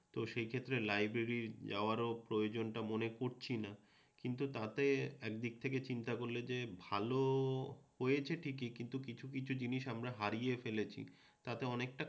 তো সে ক্ষেত্রে লাইব্রেরি যাওয়ারও প্রয়োজনটা মনে করছিনা কিন্তু তাতে এক দিক থেকে চিন্তা করলে যে ভালো হয়েছে ঠিকই কিন্তু কিছু কিছু জিনিস আমরা হারিয়ে ফেলেছি তাতে অনেকটা